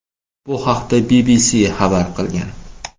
Bu haqda BBC xabar qilgan .